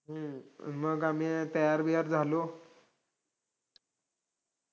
मग आम्ही तयार-बियार झालो.